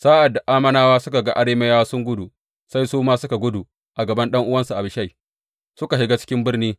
Sa’ad da Ammonawa suka ga Arameyawa suna gudu, sai su ma suka guda a gaban ɗan’uwansa Abishai suka shiga cikin birni.